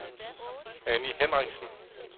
Annie Hendriksen